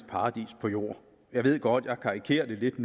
paradis på jord jeg ved godt at jeg karikerer det lidt